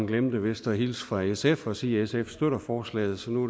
glemte vist at hilse fra sf og sige at sf støtter forslaget så nu